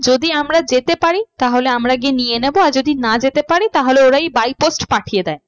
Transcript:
যদি আমরা যেতে পারি তাহলে আমরা গিয়ে নিয়ে নেবো আর যদি না যেতে পারি তাহলে ওরাই by post পাঠিয়ে দেয়।